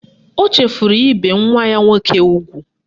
O chefuru ibe nwa ya nwoke ugwu